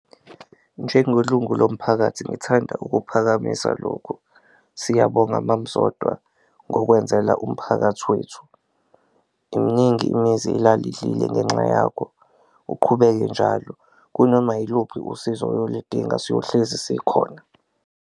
Njengelungu lomphakathi ngithanda ukuphakamisa lokhu, siyabonga mam'Zodwa ngokwenzela umphakathi wethu, imningi imizi elala idlile ngenxa yakho, uqhubeke njalo kunoma yiluphi usizo oyolidinga siyohlezi sikhona.